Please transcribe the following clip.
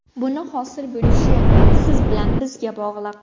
Buni hosil bo‘lishi siz bilan bizga bog‘liq.